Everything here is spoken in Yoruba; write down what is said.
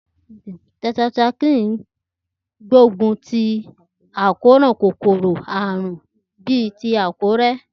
Tetracycline gbógun ti àkóràn kòkòrò àrùn bíi irorẹ́.